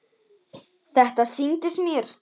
Þetta sýndist mér!